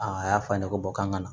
Aa a y'a f'a ɲɛnɛ ko k'an ka na